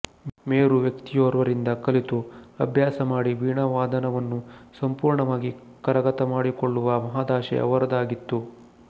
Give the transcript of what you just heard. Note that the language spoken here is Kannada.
ಮೇರು ವ್ಯಕ್ತಿಯೋರ್ವರಿಂದ ಕಲಿತು ಅಭ್ಯಾಸ ಮಾಡಿ ವೀಣಾವಾದನವನ್ನು ಸಂಪೂರ್ಣವಾಗಿ ಕರಗತಮಾಡಿಕೊಳ್ಳುವ ಮಹದಾಶೆ ಅವರದಾಗಿತ್ತು